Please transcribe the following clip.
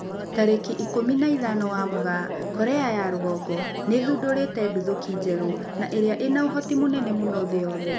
Tarĩki ikũmi na ithano wa Mugaa, Korea ya rũgongo nĩ ĩthundũrite nduthũki njerũ na ĩria ĩna ũhoti mũnene mũno thĩ yothe